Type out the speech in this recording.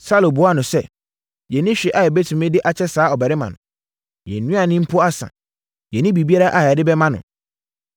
Saulo buaa no sɛ, “Yɛnni hwee a yɛbɛtumi de akyɛ saa ɔbarima no, yɛn nnuane mpo asa, yɛnni biribiara a yɛde bɛma no.”